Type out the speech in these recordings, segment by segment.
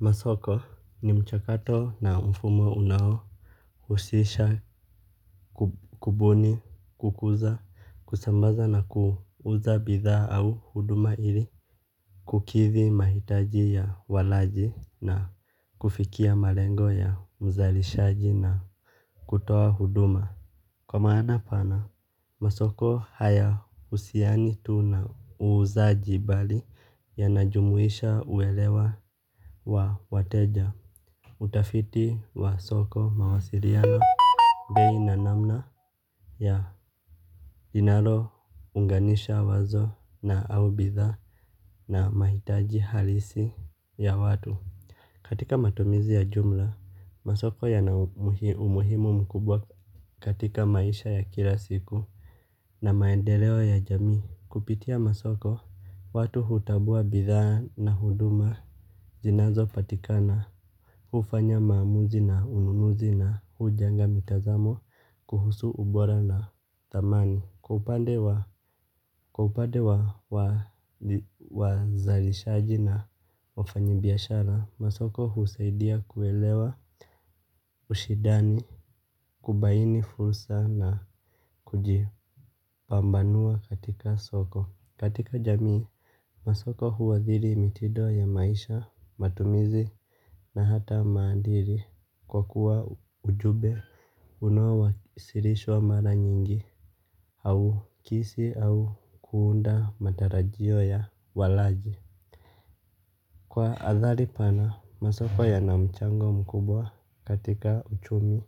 Masoko ni mchakato na mfumo unao husisha kubuni kukuza kusambaza na kuuza bidha au huduma ili kukithi mahitaji ya walaji na kufikia malengo ya mzalishaji na kutoa huduma. Kwa maana pana masoko haya husiani tu na uuzaji bali yanajumuisha uelewa wa wateja utafiti wa soko mawasiliano. Bei na namna ya linalo unganisha wazo na au bithaa na mahitaji halisi ya watu. Katika matumizi ya jumla, masoko ya na umuhimu mkubwa katika maisha ya kila siku. Na maendeleo ya jamii kupitia masoko, watu hutambua bithaa na huduma zinazo patikana hufanya maamuzi na ununuzi na hujenga mitazamo kuhusu ubora na thamani kwa upande wa wazalishaji na wafanyi biashara masomo husaidia kuelewa ushidani, kubaini fursa na kujipambanua katika soko. Katika jamii masoko huadhiri mitido ya maisha, matumizi na hata maandiri. Kwa kuwa ujube unao wa sirishwa mara nyingi au kisi au kuunda matarajio ya walaji. Kwa athali pana masoko yana mchango mkubwa katika uchumi.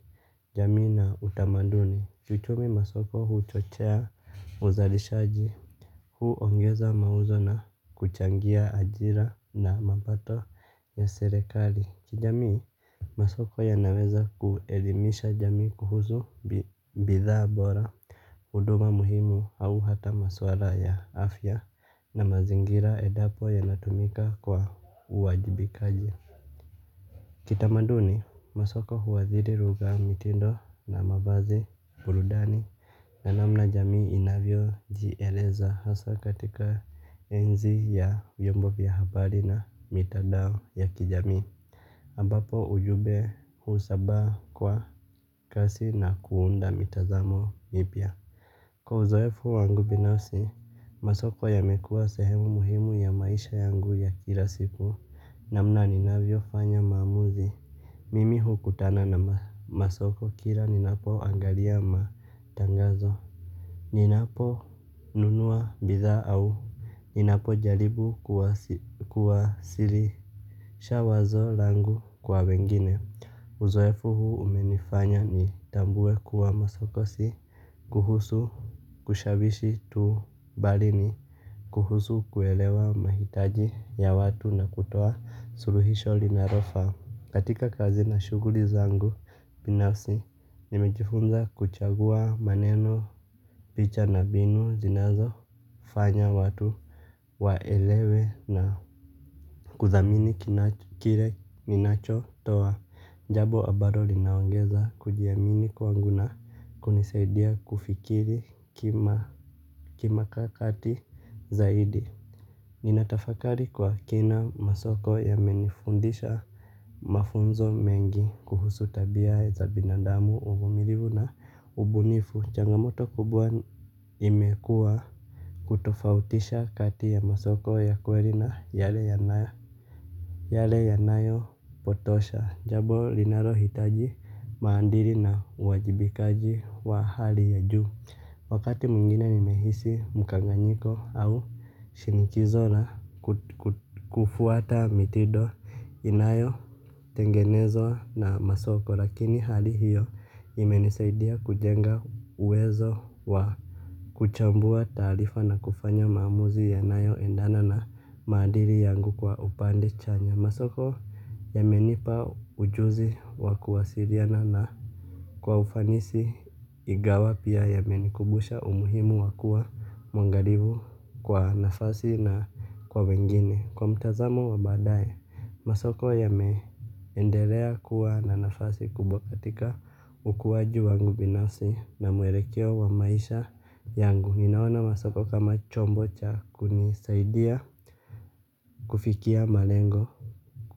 Jamii na utamaduni kiuchumi masoko huchochea uzalishaji. Hu ongeza mauzo na kuchangia ajira na mapato ya serekali. Kijamii, masoko ya naweza kuelimisha jamii kuhusu bithaa bora, huduma muhimu au hata maswala ya afya na mazingira endapo ya natumika kwa uwajibikaji. Kitamaduni masoko huadhiri lugha mitindo na mavazi ilindani na namna jamii inayi jieleza hasa katika enzi ya vyombo vya habari na mitandao ya kijamii ambapo ujumbe husabaa kwa kasi na kuunda mitazamo mipya. Kwa uzoefu wangu binasi masoko ya mekua sehemu muhimu ya maisha yangu ya kila siku namna ninavyo fanya maamuzi. Mimi hukutana na masoko kila ninapo angalia matangazo. Ninapo nunua bithaa au ninapo jaribu kuwasilisha wazo langu kwa wengine. Uzoefu huu umenifanya ni tambue kuwa masoko si kuhusu kushawishi tu bali ni kuhusu kuelewa mahitaji ya watu na kutoa suluhisho linalo faa. Katika kazi na shuguli zangu binasi nimejifunza kuchagua maneno picha na mbinu zinazo fanya watu waelewe na kuthamini kile ninacho toa jabo ambaro linaongeza kujiamini kwawangu na kunisaidia kufikiri kima kakati zaidi. Ninatafakari kwa kina masoko yamenifundisha. Mafunzo mengi kuhusu tabia za binadamu uvumilivu na ubunifu changamoto kubwa imekua. Kutofautisha kati ya masoko ya kweri na yale yanayo yale yanayo potosha jabo linaro hitaji maandiri na uwajibikaji wa hali ya juu. Wakati mwingine nimehisi mkanganyiko au shinikizo na kufuata mitido inayo tengenezwa na masoko lakini hali hiyo imenisaidia kujenga uwezo wa kuchambua taarifa na kufanya maamuzi ya nayo endana na maadiri yangu kwa upande chanya. Masoko ya menipa ujuzi wakuwairiana na kwa ufanisi igawa pia yamenikubusha umuhimu wakuwa mwangarivu kwa nafasi na kwa wengine. Kwa mtazamo wa badaye, masoko ya meendelea kuwa na nafasi kubwa katika ukuwaji wangu binasi na muerekeo wa maisha yangu. Ninaona masoko kama chombo cha kunisaidia kufikia malengo.